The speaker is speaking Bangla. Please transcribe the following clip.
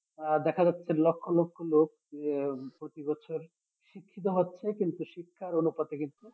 আহ দেখা যাচ্ছে লক্ষ লক্ষ লোক যে প্রতি বছর শিক্ষিত হচ্ছে কিন্তু শিক্ষার অনুপাতে কিন্তু